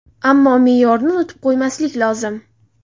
Ammo me’yorni unutib qo‘ymaslik lozim.